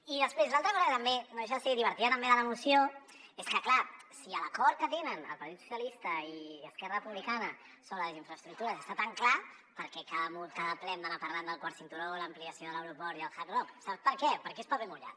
i després l’altra cosa que també no deixa de ser divertida de la moció és que clar si l’acord que tenen el partit socialista i esquerra republicana sobre les infraestructures està tan clar per què cada ple hem d’anar parlant del quart cinturó l’ampliació de l’aeroport i el hard rock sap per què perquè és paper mullat